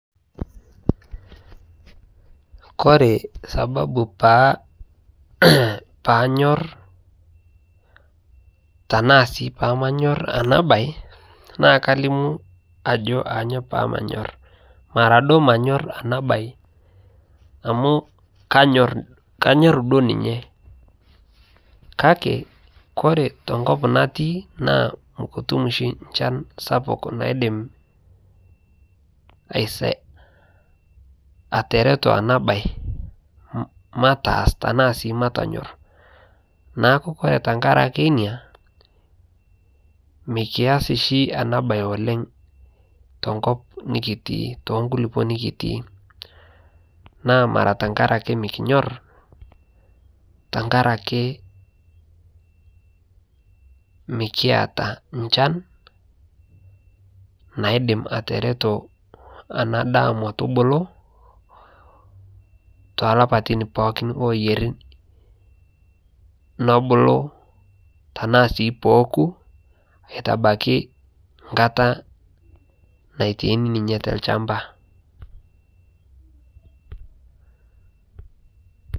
kore sababu paanyor tanaa sii pamanyor ana bai naa kalimu ajo anyo pamanyor mara duo manyor ana bai amu kanyor duo ninye kakee kore tenkop natii naa mukutum shi nchan sapuk naidim ateretoo ana bai mataaz tanaa sii matonyor naaku kore tangarakee inia mikiaz shi ana bai oleng tenkop nikitii tonkulipoo nikitii naa tankarake mikinyor tankarake mikiata nchan naidim atereto ana daa motubulu tolapatin pookin loyarii nobulu tanaa sii pooku aitabaki nkataa naitaini ninye telshampa